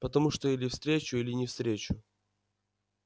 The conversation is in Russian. потому что или встречу или не встречу